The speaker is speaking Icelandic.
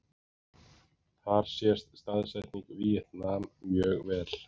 Þar sést staðsetning Víetnam mjög vel.